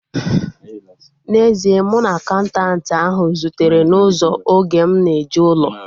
N'ezie, mụ na akaụntanti ahu zutere n'ụzọ oge m na-eje ụlọ akụ